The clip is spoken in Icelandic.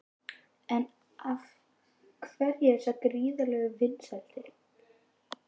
En af hverju þessar gríðarlegu vinsældir?